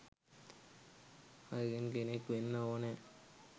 අයගෙන් කෙනෙක් වෙන්න ඕනෑ.